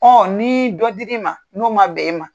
Ɔn ni dɔ diri ma, n'o ma bɛn i ma